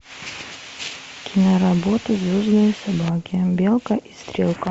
киноработа звездные собаки белка и стрелка